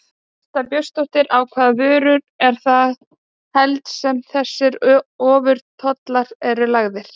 Birta Björnsdóttir: Á hvaða vörur eru það helst sem þessir ofurtollar eru lagðir?